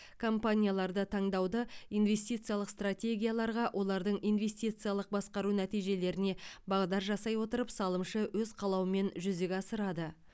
компанияларды таңдауды инвестициялық стратегияларға олардың инвестициялық басқару нәтижелеріне бағдар жасай отырып салымшы өз қалауымен жүзеге асырады